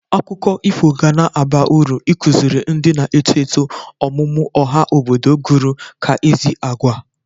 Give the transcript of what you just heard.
Akụkọ ifo gana aba ụrụ ịkụzịrị ndị na eto eto oMụMụ ọha obodo gụrụ ka ezi agwa.